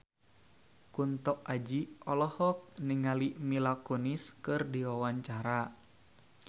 Kunto Aji olohok ningali Mila Kunis keur diwawancara